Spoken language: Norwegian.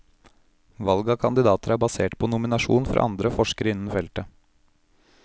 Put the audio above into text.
Valget av kandidater er basert på nominasjon fra andre forskere innen feltet.